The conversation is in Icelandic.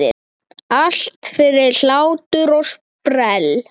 Allt fyrir hlátur og sprell!